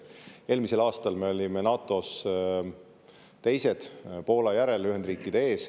Eelmisel aastal me olime NATO-s teised Poola järel ja Ühendriikide ees.